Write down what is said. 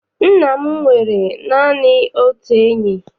Nna m nwere naanị otu enyi.